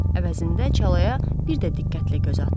Əvəzində çalaya bir də diqqətlə göz atdı.